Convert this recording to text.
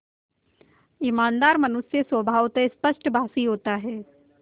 ईमानदार मनुष्य स्वभावतः स्पष्टभाषी होता है